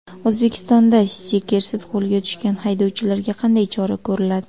O‘zbekistonda stikersiz qo‘lga tushgan haydovchilarga qanday chora ko‘riladi?.